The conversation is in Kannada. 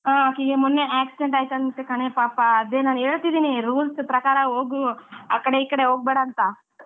ಆಕಿಗೆ ಮೊನ್ನೆ accident ಆಯ್ತಂತೆ ಕಣೆ ಪಾಪ ಅದೇ ನಾನ್ ಹೇಳ್ತಿದಿನಿ rules ಪ್ರಕಾರ ಹೋಗು ಆಕಡೆ ಈಕಡೆ ಹೋಗ್ಬೇಡ ಅಂತ,